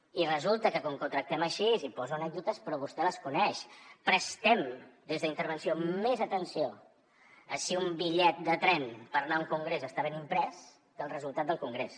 i resulta que com que ho tractem així hi poso anècdotes però vostè les coneix prestem des d’intervenció més atenció a si un bitllet de tren per anar a un congrés està ben imprès que el resultat del congrés